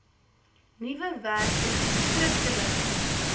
nuwe werkers skriftelike